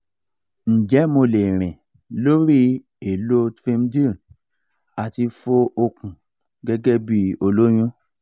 nje mo le rin lori elo trdmil ati fo okun gege bi oloyun?